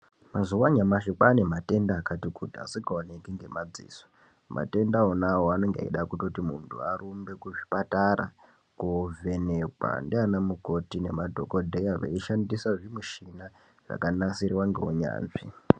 Mazuva anyamashi kwaane matenda akati kuti asikaoneki ngemadziso matenda onawo anenge eida kuti muntu arumbe kuzvichipatara kovhenekwa ndiana mukoti nemadhokodheya eishandisa zvimichina zvakanasirwa ngeunyanzvi.